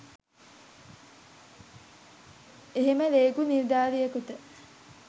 එහෙම රේගු නිලධාරියෙකුට